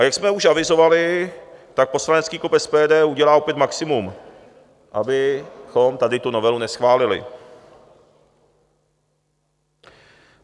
A jak jsme už avizovali, tak poslanecký klub SPD udělá opět maximum, abychom tady tu novelu neschválili.